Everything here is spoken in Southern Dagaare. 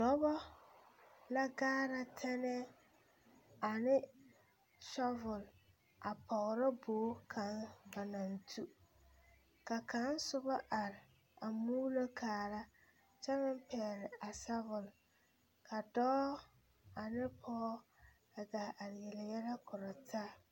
Dɔbɔ la ɡaara tɛnɛɛ ane sɔvul a pɔɡrɔ boɡi kaŋ naŋ tu ka kaŋ soba are a muulo kaara kyɛ meŋ pɛɛle a sɔvul ka dɔɔ ane pɔɔ a ɡaa are yele yɛlɛ kora taa.